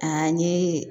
A n ye